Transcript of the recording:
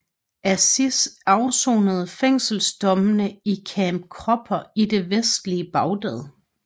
Aziz afsonede fængselsdommene i Camp Cropper i det vestlige Bagdad